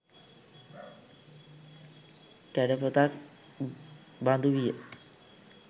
කැඩපතක් බඳු විය.